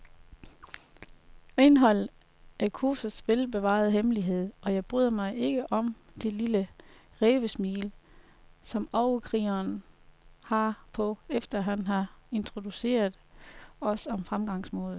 Indholdet er kursets velbevarede hemmelighed, og jeg bryder mig ikke om det lille rævesmil, som overkrigeren har på, efter han har introduceret os om fremgangsmåden.